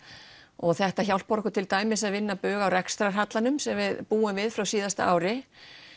og þetta hjálpar okkur til dæmis að vinna bug á rekstrarhallanum sem við búum við frá síðasta ári